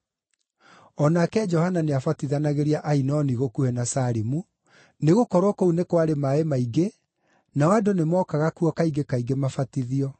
O nake Johana nĩabatithanagĩria Ainoni gũkuhĩ na Salimu, nĩgũkorwo kũu nĩ kwarĩ maaĩ maingĩ, nao andũ nĩmookaga kuo kaingĩ kaingĩ mabatithio.